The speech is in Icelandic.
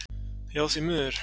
Já, því miður.